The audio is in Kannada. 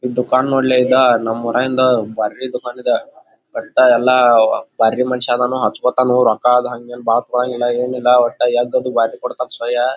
ಇದ್ದು ದುಕಾನ್ ನೋಡೇಲೆ ಇದ ನಮ್ಮೂರರಿಂದ ಭಾರಿ ದುಕಾನ್ ಇದೆ ಬಟ್ಟೆ ಎಲ್ಲ ಬಾರಿ ಮನುಷ್ಯ ಅದನ್ನು ಹಚ್ಕೊಥನು ರೊಕ್ಕ ಏನ್ ಬಹಳ ತೊಗಲನಗಿಲ್ಲ ಏನಿಲ್ಲ ದುಬಾರಿ